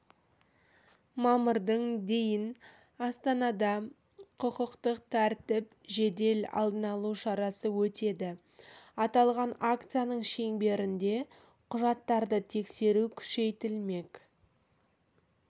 мамырдың дейін астанада құқықтық тәртіп жедел алдын алу шарасы өтеді аталған акцияның шеңберінде құжаттарды тексеру күшейтілмек